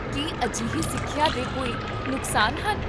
ਕੀ ਅਜਿਹੀ ਸਿੱਖਿਆ ਦੇ ਕੋਈ ਨੁਕਸਾਨ ਹਨ?